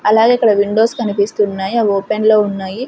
అలాగే అక్కడ విండోస్ కనిపిస్తున్నాయి అవి ఓపెన్లో ఉన్నాయి.